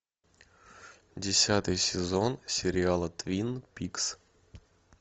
десятый сезон сериала твин пикс